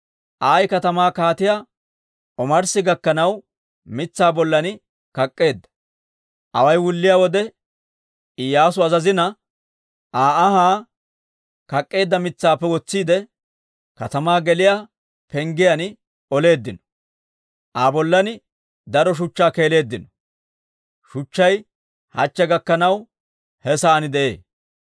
Ayi katamaa kaatiyaa omarssi gakkanaw mitsaa bollan kak'k'eedda. Away wulliyaa wode, Iyyaasu azazina, Aa anhaa kak'k'eedda mitsaappe wotsiide katamaa geliyaa penggiyaan oleeddino; Aa bollan daro shuchchaa keeleeddino. Shuchchay hachche gakkanaw he sa'aan de'ee.